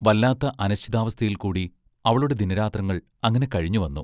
വല്ലാത്ത അനിശ്ചിതാവസ്ഥയിൽക്കൂടി അവളുടെ ദിനരാത്രങ്ങൾ അങ്ങനെ കഴിഞ്ഞുവന്നു.